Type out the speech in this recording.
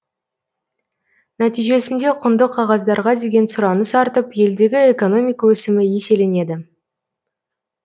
нәтижесінде құнды қағаздарға деген сұраныс артып елдегі экономика өсімі еселенеді